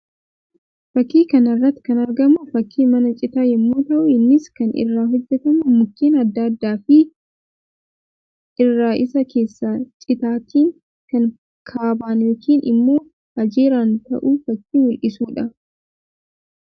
Fakkii kana irratti kan argamu fakkii mana citaa yammuu ta'u; innis kan irraa hojjetamuu mukeen addaa addaa fi irra isaa keessas citaatiin kan kaaban yookiin immoo ajeeran ta'uu fakkii mul'isuu dha.